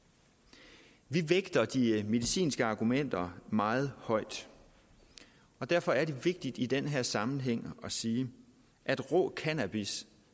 vi vægter de medicinske argumenter meget højt og derfor er det vigtigt i den her sammenhæng at sige at rå cannabis